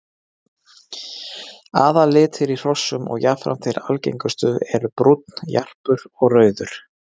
Aðallitir í hrossum og jafnframt þeir algengustu eru brúnn, jarpur og rauður.